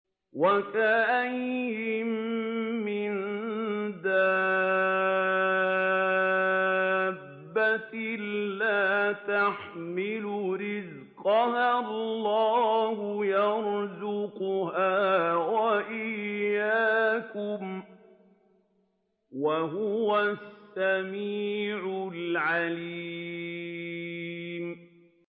وَكَأَيِّن مِّن دَابَّةٍ لَّا تَحْمِلُ رِزْقَهَا اللَّهُ يَرْزُقُهَا وَإِيَّاكُمْ ۚ وَهُوَ السَّمِيعُ الْعَلِيمُ